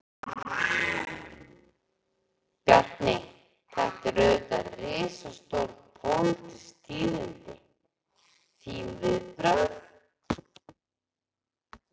Bjarni, þetta eru auðvitað risastór, pólitísk tíðindi, þín viðbrögð?